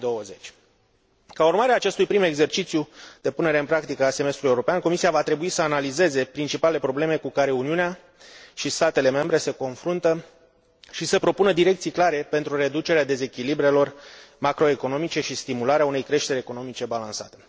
2020. Ca urmare a acestui prim exercițiu de punere în practică a Semestrului european, Comisia va trebui să analizeze principalele probleme cu care Uniunea și statele membre se confruntă și să propună direcții clare pentru reducerea dezechilibrelor macro economice și stimularea unei creșteri economice balansate.